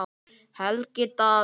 Helgi Davíð.